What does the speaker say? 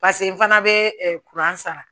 Paseke n fana bɛ sara